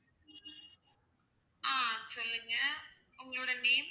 ஆஹ் சொல்லுங்க. உங்களுடைய name